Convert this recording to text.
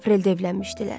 Apreldə evlənmişdilər.